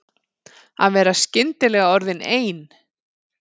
Að vera skyndilega orðin ein.